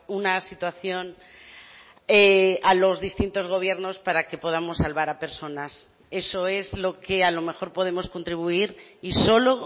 una situación a los distintos gobiernos para que podamos salvar a personas eso es lo que a lo mejor podemos contribuir y solo